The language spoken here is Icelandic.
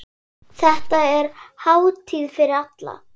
Þetta er hátíð fyrir alla.